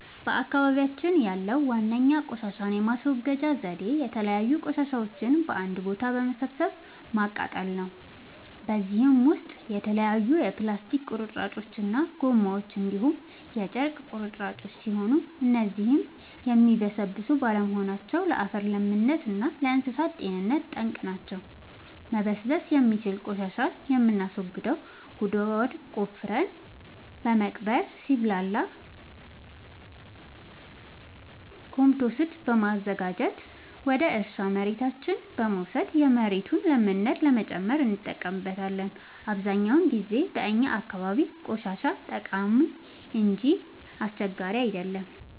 በአካባቢያችን ያለዉ ዋነኛ ቆሻሻን የማስወገጃ ዘዴ የተለያዩ ቆሻሻዎችን በአንድ ቦታ በመሰብሰብ ማቃጠል ነው። በዚህም ውስጥ የተለያዩ የፕላስቲክ ቁርጥራጮች እና ጎማዎች እንዲሁም የጨርቅ ቁራጮች ሲሆኑ እነዚህም የሚበሰብሱ ባለመሆናቸው ለአፈር ለምነት እና ለእንሳሳት ጤንነት ጠንቅ ናቸው። መበስበስ የሚችል ቆሻሻን የምናስወግደው ጉድጓድ ቆፍረን በመቅበር ሲብላላ ኮምቶስት በማዘጋጀት ወደ እርሻ መሬታችን በመውሰድ የመሬቱን ለምነት ለመጨመር እንጠቀምበታለን። አብዛኛውን ጊዜ በእኛ አካባቢ ቆሻሻ ጠቃሚ እንጂ አስቸጋሪ አይደለም።